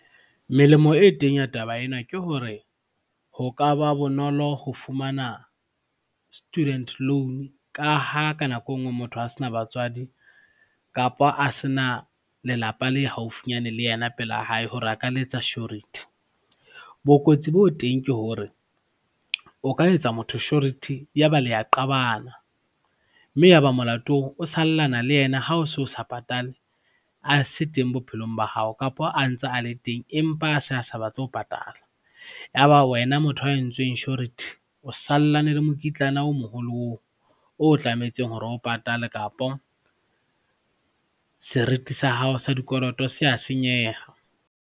Melemo e teng ya taba ena ke hore ho ka ba bonolo ho fumana student loan ka ha ka nako e nngwe motho a se na batswadi kapa a se na lelapa le haufinyane le yena pela hae hore a ka letsa surety. Bokotsi bo teng ke hore o ka etsa motho surety yaba le a qabana mme yaba molato oo, o sallana le yena ha o so sa patale a se teng bophelong ba hao kapa a ntse a le teng empa a se a sa batle ho patala. Yaba wena motho ya entsweng surety o sallane le mokitlane o moholo oo o tlametse hore o patale kapa seriti sa hao sa dikoloto se a senyeha.